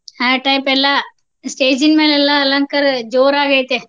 ಆ type ಎಲ್ಲಾ stage ಇನ್ ಮ್ಯಾಲ ಎಲ್ಲಾ ಅಲಂಕಾರ ಜೋರಾಗಿ ಐತೆ.